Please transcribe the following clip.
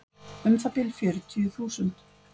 Um það bil fjörutíu þúsund.